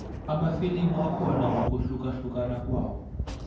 amafilimu akhona ngokuhlukahlukana kwawo